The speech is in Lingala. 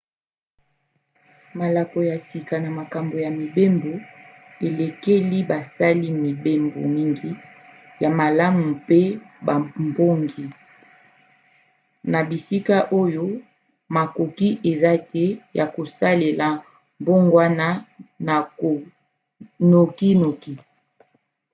malako ya sika na makambo ya mibembo elekeli basali-mibembo mingi ya malamu mpe babongi na bisika oyo makoki eza te ya kosala mbongwana nokinoki